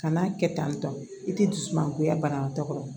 Kana kɛ tan tɔ i tɛ dusu mangoya banabaatɔ kɔrɔ